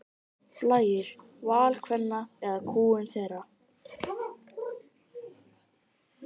Blæjur: Val kvenna eða kúgun þeirra?